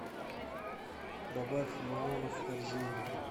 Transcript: добавь лимоны в корзину